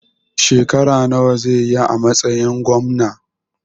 Shekara nawa zai yi a matsayin Gwamna?